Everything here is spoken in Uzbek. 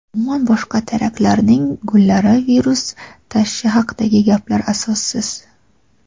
umuman boshqa teraklarning gullari virus tashishi haqidagi gaplar asossiz.